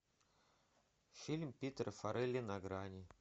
фильм питера фаррелли на грани